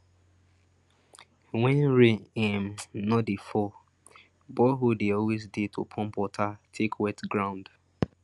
when rain um no dey fall borehole dey always dey to pump water take wet ground